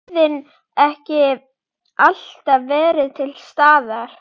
Og værðin ekki alltaf verið til staðar.